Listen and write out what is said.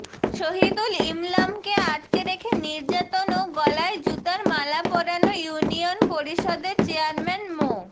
শহীদুল ইমলামকে আটকে রেখে নির্যাতন ও গলায় জুতার মালা পরান ইউনিয়ন পরিষদের চেয়ারম্যান মো